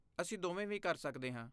ਅਸੀਂ ਦੋਵੇਂ ਵੀ ਕਰ ਸਕਦੇ ਹਾਂ।